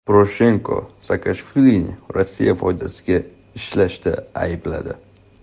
Poroshenko Saakashvilini Rossiya foydasiga ishlashda aybladi.